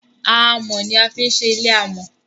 amò ní a fi ń ṣe ilé amò